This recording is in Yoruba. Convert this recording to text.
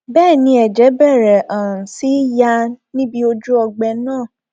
bẹẹ ni ẹjẹ bẹrẹ um sí í yà níbi ojú ọgbẹ náà um